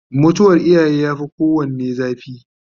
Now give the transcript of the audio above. mutuwar iyaye ya Fi kowanne zafi